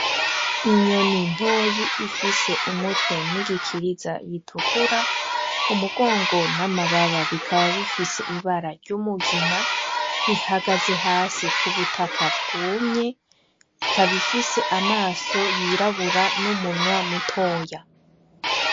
Inyoni ntoyi ifise umutwe n'igikiriza bitukura, umugongo n'amababa bikaba bifise ibara ry'umugina ihagaze hasi k'ubutaka bwumye ikaba ifise amaso yirabura n'umunwa mutoya.